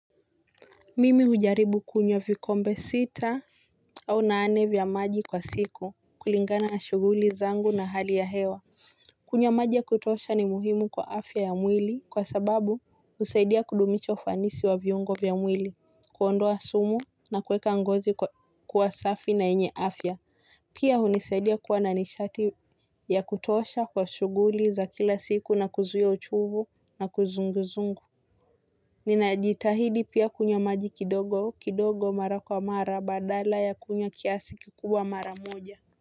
Mimi hujaribu kunyo vikombe sita au nane vya maji kwa siku kulingana na shuguli zangu na hali ya hewa. Kunywa maji ya kutosha ni muhimu kwa afya ya mwili kwa sababu usaidia kudumisha fanisi wa vyungo vya mwili, kuondoa sumu na kuweka ngozi kwa safi na enye afya. Pia unisaidia kuwa nanishati ya kutosha kwa shuguli za kila siku na kuzuia uchuvu na kuzunguzungu. Ninajitahidi pia kunya maji kidogo kidogo mara kwa mara badala ya kunywa kiasi kikubwa mara moja.